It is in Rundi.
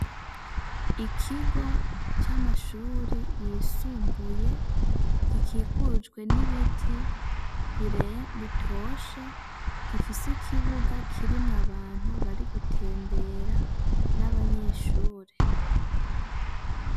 Ikigo c'amashuri yisumbuye gikikujwe n'ibiti bitoshe gifise ikibuga kirimwo abantu bari gutembera n'abanyeshure.